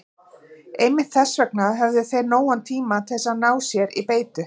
Einmitt þess vegna höfðu þeir nógan tíma til að ná sér í beitu.